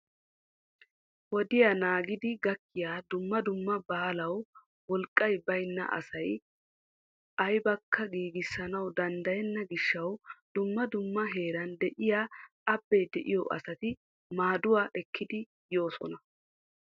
Wodiyaa naagidi gakkiyaa dumma dumma baalaw wolqqay baynna asay aybbakka giigissanaw danddayena gishshaw dumma dumma heeran de'iyaa abbee de'iyo asati maadduwa ekkidi yoosona.